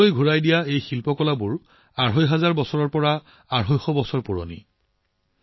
ভাৰতলৈ ঘূৰাই অনা এই শিল্পকৰ্মসমূহ প্ৰায় ২৫০০ৰ পৰা ২৫০বছৰ পুৰণি